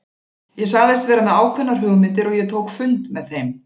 Ég sagðist vera með ákveðnar hugmyndir og ég tók fund með þeim.